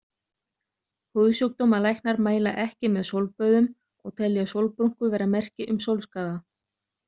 Húðsjúkdómalæknar mæla ekki með sólböðum og telja sólbrúnku vera merki um sólskaða.